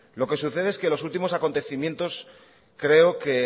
lo que sucede es que los últimos acontecimientos creo que